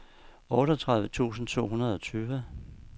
otteogtredive tusind to hundrede og tyve